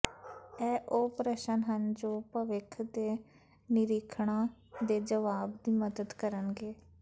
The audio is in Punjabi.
ਇਹ ਉਹ ਪ੍ਰਸ਼ਨ ਹਨ ਜੋ ਭਵਿੱਖ ਦੇ ਨਿਰੀਖਣਾਂ ਦੇ ਜਵਾਬ ਦੀ ਮਦਦ ਕਰਨਗੇ